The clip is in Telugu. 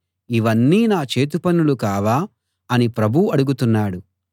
ఇవన్నీ నా చేతిపనులు కావా అని ప్రభువు అడుగుతున్నాడు